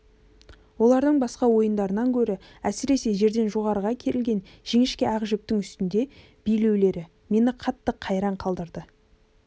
олардың басқа ойындарынан гөрі әсіресе жерден жоғарыға керілген жіңішке ақ жіптің үстінде билеулері мені қатты қайран қалдырды